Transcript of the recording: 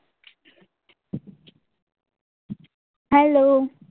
Hello